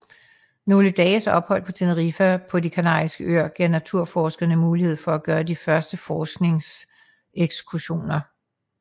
Nogle dages ophold på Tenerife på de Kanariske Øer gav naturforskerne mulighed for at gøre de første forskningsekskursioner